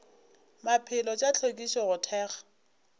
maphelo tša hlwekišo go thekga